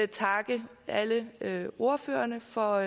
takke alle alle ordførerne for